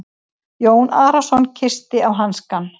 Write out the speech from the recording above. Jón Arason kyssti á hanskann.